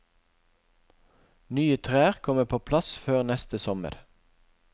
Nye trær kommer på plass før neste sommer.